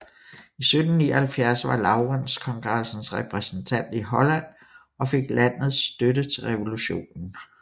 I 1779 var Laurens kongressens repræsentant i Holland og fik landets støtte til revolutionen